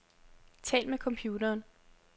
Tal med computeren.